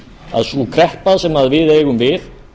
að sú kreppa sem við eigum við